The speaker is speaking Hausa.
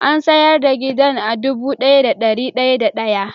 An sayar da gidan a dubu daya da dari daya da day.